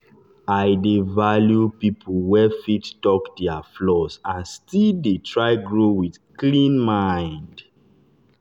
i dey value people wey fit talk their flaws and still dey try grow with clean mind.